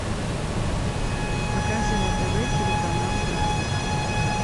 покажи на тв телеканал драйв